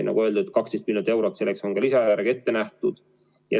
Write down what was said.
Nagu öeldud, 12 miljonit eurot selleks on lisaeelarvega ette nähtud.